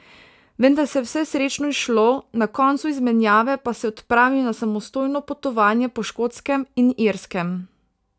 Vendar se je vse srečno izšlo, na koncu izmenjave pa se je odpravil na samostojno potovanje po Škotskem in Irskem.